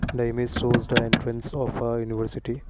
the image shows the entrance of a university.